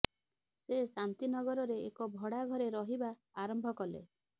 ସେ ଶାନ୍ତିନଗରରେ ଏକ ଭଡା ଘରେ ରହିବା ଆରମ୍ଭ କଲେ